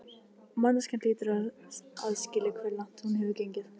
Manneskjan hlýtur líka að skilja hve langt hún hefur gengið.